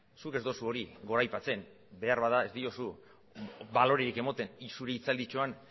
zuk ez duzu hori goraipatzen beharbada ez diozu balorerik ematen nik zure hitzalditxoan